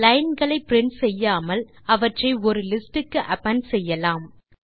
line களை print செய்யாமல் அவற்றை ஒரு லிஸ்ட் க்கு அப்பெண்ட் செய்யலாம்